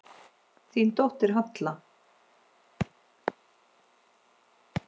Þín dóttir, Halla.